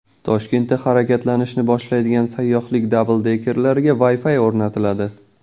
Toshkentda harakatlanishni boshlaydigan sayyohlik dabldekerlariga Wi-Fi o‘rnatiladi.